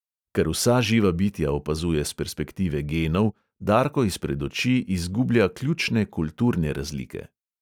Ker vsa živa bitja opazuje s perspektive genov, darko izpred oči izgublja ključne kulturne razlike.